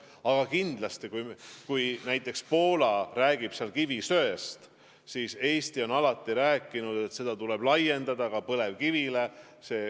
Aga kindlasti, kui näiteks Poola räägib kivisöest, siis Eesti on alati rääkinud, et seda abinõu tuleb laiendada ka põlevkivile.